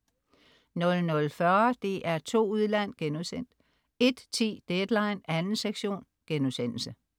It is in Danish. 00.40 DR2 Udland* 01.10 Deadline 2. sektion*